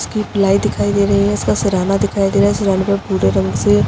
इसकी प्लाई दिखाई दे रही है। इसका सिरहाना दिखाई दे रहा है। सिरहाने पे भूरे रंग से --